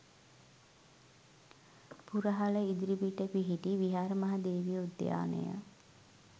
පුරහල ඉදිරිපිට පිහිටි විහාර මහා දේවී උද්‍යානය